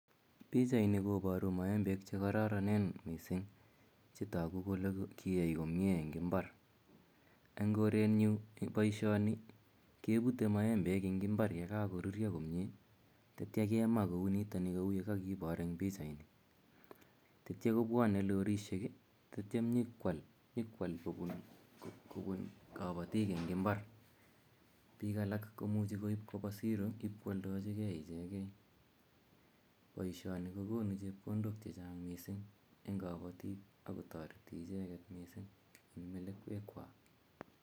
Pichaini koparu maembek che kararanen missing' che tagu kole kiyai komye en imbar. En korenyu poishoni kepute maembek en imbar ye kakorurya komye tetia kema komye kou ge kakipar en pichaini. Tetia kopwane lorishek tatiam nyu ko al kopun kapatik en imbar. Piik alak komuchi koip kopa siro ipkoaldachigei ichegei. Poishoni ko konu chepkondok che chag' missing' eng' kapatik ako tareti icheget missing' eng' melekwekwak.